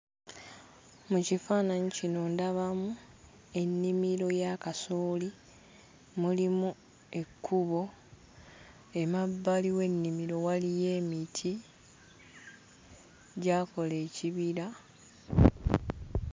Mu kifaananyi kino ndabamu ennimiro ya kasooli, mulimu ekkubo, emabbali w'ennimiro waliyo emiti; gyakola ekibira.